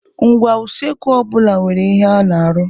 Ngwá usekwu ọ bụla nwere ihe ọ na-arụ.